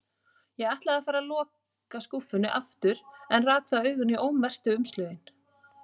Ég ætlaði að fara að loka skúffunni aftur en rak þá augun í ómerktu umslögin.